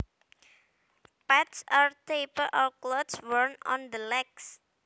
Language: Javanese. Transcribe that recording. Pants are a type of cloths worn on the legs